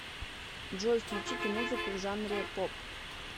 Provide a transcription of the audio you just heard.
джой включите музыку в жанре поп